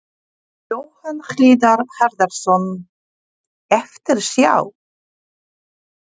Jóhann Hlíðar Harðarson: Eftirsjá?